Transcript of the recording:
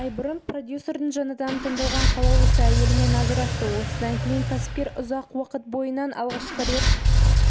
ай бұрын продюсердің жаңадан таңдалған қалаулысы әйелімен ажырасты осыдан кейін кәсіпкер ұзақ уақыт бойына алғаш рет